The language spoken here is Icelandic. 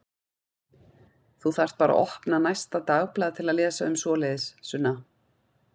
Þú þarft bara að opna næsta dagblað til að lesa um svoleiðis, Sunna.